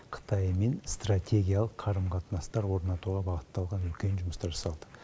қытаймен стратегиялық қарым қатынастар орнатуға бағытталған үлкен жұмыстар жасалды